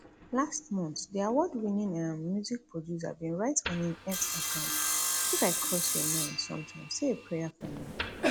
last month di awardwinning um music producer bin write on im x account if i cross your mind sometimes say a prayer for me